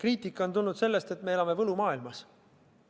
Kriitika on tulnud sellest, et me elame võlumaailmas.